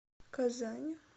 казань